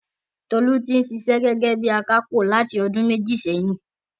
Tolú tí ń ṣiṣẹ gẹ́gẹ́ bíi akápò láti ọdún méjì sẹ́yìn.